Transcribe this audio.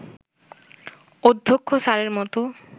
অধ্যক্ষ স্যারের মতো